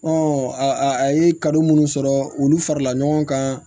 a a ye ka minnu sɔrɔ olu farala ɲɔgɔn kan